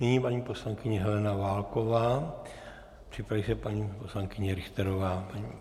Nyní paní poslankyně Helena Válková, připraví se paní poslankyně Richterová.